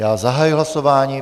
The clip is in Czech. Já zahajuji hlasování.